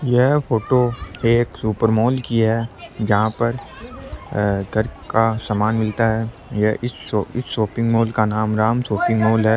यह फोटो एक super mall की है जहा पर अ घर का सामान मिलता है इस शॉपिंग मॉल का नाम राम शॉपिंग मॉल है।